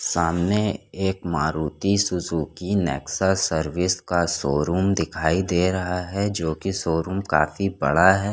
सामने एक Maruti Suzuki Nexa service का शोरूम दिखाई दे रहा हैं जो की शोरूम काफी बड़ा हैं।